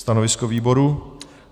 Stanovisko výboru?